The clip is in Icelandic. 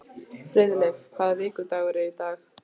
Friðleif, hvaða vikudagur er í dag?